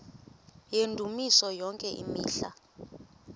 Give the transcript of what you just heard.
yendumiso yonke imihla